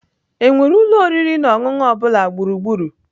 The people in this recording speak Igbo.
Enwere ụlọ oriri na ọṅụṅụ ọ bụla gburugburu?